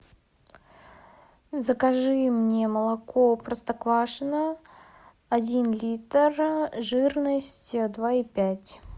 закажи мне молоко простоквашино один литр жирность два и пять